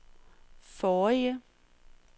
forrige